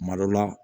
Kuma dɔ la